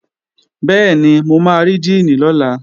Bẹ́ẹ̀ni, mo máa rí díìnì lọ́la